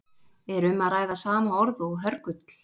Er um að ræða sama orð og hörgull?